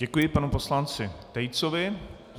Děkuji panu poslanci Tejcovi.